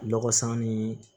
Lɔgɔ san ni